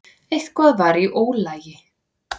Eitthvað var í ólagi.